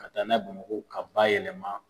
Ka taa n'a ye Bamakɔ k'a bayɛlɛma